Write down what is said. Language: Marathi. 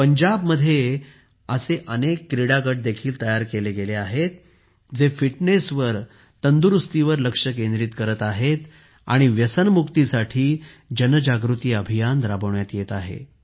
पंजाब मध्ये असे अनेक क्रीडा गट देखील तयार केले गेले आहेत जे फिटनेसवर तंदुरुस्तीवर लक्ष केंद्रित करत आहेत आणि व्यसनमुक्तीसाठी जनजागृती अभियान राबविण्यात येत आहे